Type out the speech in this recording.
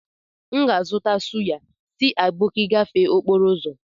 M ga-azụta suya si aboki gafee okporo ụzọ